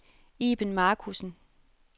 Iben Marcussen